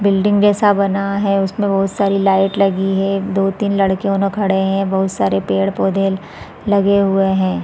Building जैसा बना है उसमें बहुत सारी लाइट लगी है दो तीन लड़के उनो खड़े है बहुत सारे पेड़ -पौधे लगे हुए है ।